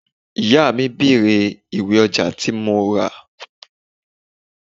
Ìyá mi bèrè ìwé ọjà tí mo ra.